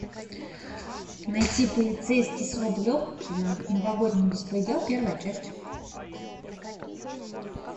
найти полицейский с рублевки новогодний беспредел первая часть